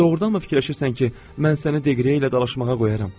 Doğrudanmı fikirləşirsən ki, mən səni Dəqrieyə ilə dalaşmağa qoyaram?